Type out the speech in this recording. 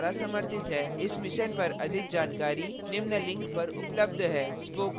इस mission पर अधिक जानकारी निम्न लिंक पर उपलब्ध है